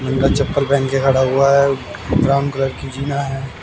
चप्पल पहन के खड़ा हुआ है ब्राउन कलर की जीना है।